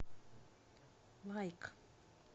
лайк